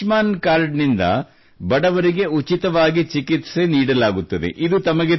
ಹಾಗೂ ಆಯುಷ್ಮಾನ್ ಕಾರ್ಡ್ ನಿಂದ ಬಡವರಿಗೆ ಉಚಿತವಾಗಿ ಚಿಕಿತ್ಸೆ ನೀಡಲಾಗುತ್ತದೆ